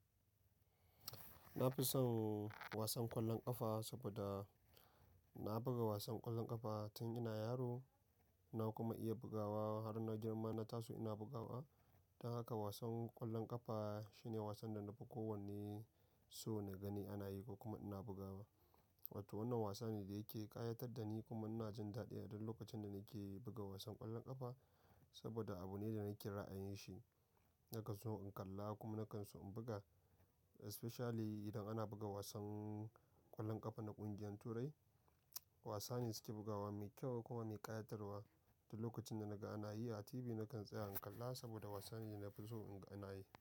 Na fi son wasan ƙwallon ƙafa saboda na buga wasan ƙwallon ƙafa tun ina yaro. Na kuma iya bugawa har na girma na taso ina bugawa. Don haka wasan ƙwallon ƙafa shine wasan da na fi kowanne so na gani ana yi kuma ina bugawa. Wato wannan wasa ne da yake ƙayatar da ni kuma ina jin daɗi a duk lokacin da nake buga wasan ƙwallon ƙafa. Saboda abu ne da nake ra'ayin shi, nakan so in kalla kuma nakan so in buga. Especially idan ana buga wasan ƙwallon ƙafa na ƙungiyar turai. Wasa ne suke bugawa mai kyau kuma mai ƙayatarwa. Duk lokacin da naga ana yi a TV nakan tsaya in kalla saboda wasa ne da na fi so in gani.